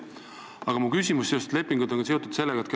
Aga mul on ka küsimus seoses lepingutega.